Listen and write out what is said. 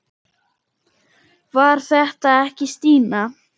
Var þetta ekki Stína?